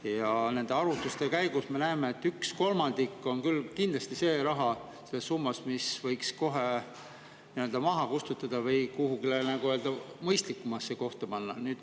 Ja nende arvutuste käigus me näeme, et sellest ühe kolmandiku võiks kohe nii-öelda kustutada või kuhugi mõistlikumasse kohta panna.